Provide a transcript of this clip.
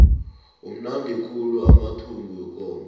amnandi khulu amathumbu wekomo